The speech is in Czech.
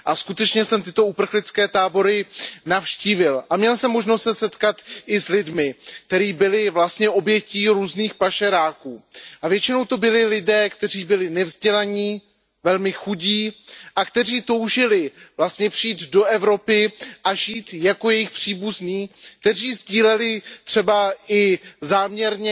A skutečně jsem tyto uprchlické tábory navštívil a měl jsem možnost se setkat i s lidmi, kteří byli obětí různých pašeráků. A většinou to byli lidé, kteří byli nevzdělaní, velmi chudí a kteří toužili vlastně přijít do Evropy a žít jako jejich příbuzní, kteří sdíleli třeba i záměrně